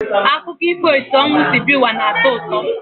Akụkọ ifo etu ọnwụ si bịa n'ụwa na-atọ ụtọ.